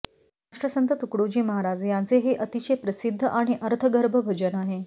राष्ट्रसंत तुकडोजी महाराज यांचे हे अतिशय प्रसिद्ध आणि अर्थगर्भ भजन आहे